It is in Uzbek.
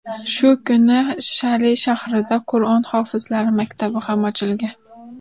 Shu kuni Shali shahrida Qur’on hofizlari maktabi ham ochilgan.